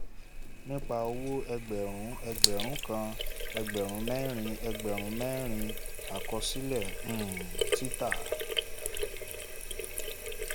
nípa owó a/c ẹgbẹ̀rún ẹgbẹ̀rún kan ẹgbẹ̀rún mẹ́rin ẹgbẹ̀rún mẹ́rin àkọsílẹ̀ um títà